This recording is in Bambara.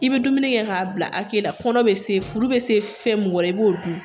I bɛ dumuni kɛ k'a bila hake la, kɔnɔ bɛ se, furu bɛ se fɛn mun kɔrɔ i b'o dun.